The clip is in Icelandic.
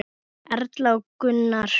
Erla og Gunnar.